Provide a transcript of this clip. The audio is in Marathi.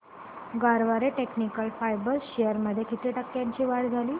गरवारे टेक्निकल फायबर्स शेअर्स मध्ये किती टक्क्यांची वाढ झाली